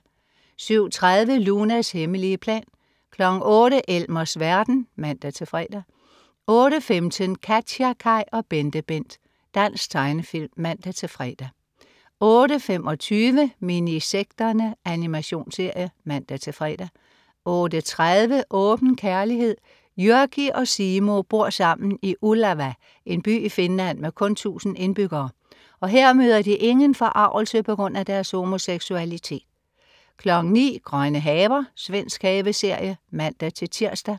07.30 Lunas hemmelige plan 08.00 Elmers verden (man-fre) 08.15 KatjaKaj og BenteBent. Dansk tegnefilm (man-fre) 08.25 Minisekterne. Animationsserie (man-fre) 08.30 Åben kærlighed. Jyrki og Simo bor sammen i Ullava, en by i Finland med kun 1000 indbyggere, og her møder de ingen forargelse på grund af deres homoseksualitet 09.00 Grønne haver. Svensk haveserie (man-tirs)